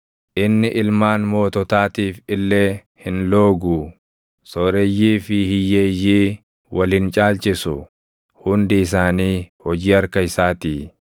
Inni ilmaan moototaatiif illee hin looguu; sooreyyii fi hiyyeeyyii wal hin caalchisu; hundi isaanii hojii harka isaatii.